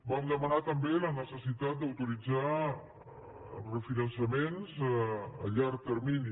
vam demanar també la necessitat d’autoritzar refinançaments a llarg termini